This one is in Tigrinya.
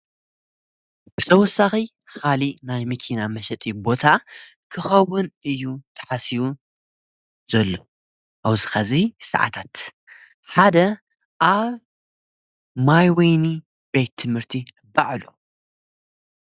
ብሰወሳኺ ኻሊ ናይ ሚኪና መሸጢ ቦታ ክኸቡን እዩ ተሓስኡ ዘሎ ኣውስኻ እዙይ ሰዓታት ሓደ ኣ ማይወይኒ ቤየ ትምህርቲ በዕሎ።